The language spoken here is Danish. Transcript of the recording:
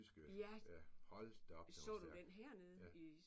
Ja. Så du den hernede i?